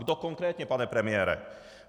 Kdo konkrétně, pane premiére?